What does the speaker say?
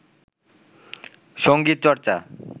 সংগীত চর্চা